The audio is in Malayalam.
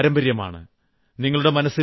ഇത് ഒരു പാരമ്പര്യമാണ്